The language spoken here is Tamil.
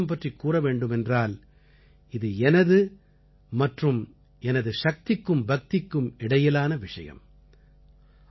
நவராத்திரி விரதம் பற்றிக் கூறவேண்டுமென்றால் இது எனது மற்றும் எனது சக்திக்கும் பக்திக்கும் இடையிலான விஷயம்